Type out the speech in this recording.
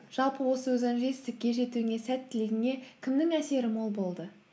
жалпы осы жетістікке жетуіңе сәттілігіңе кімнің әсері мол болды